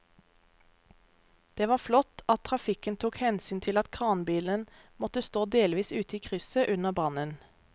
Det var flott at trafikken tok hensyn til at kranbilen måtte stå delvis ute i krysset under brannen.